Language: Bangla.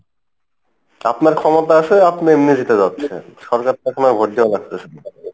আপনার ক্ষমতা আসে আপনি নিজে থেকে যাচ্ছেন সরকার তো আপনার vote দেওয়া লাগতেসে না